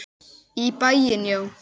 Í bæinn, já!